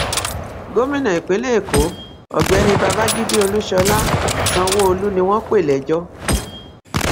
gómìnà ìpínlẹ èkó ọgbẹni babájídé olúṣọlá sanwóolu ni wọn pè lẹjọ